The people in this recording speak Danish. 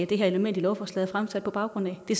det her element i lovforslaget er fremsat på baggrund af det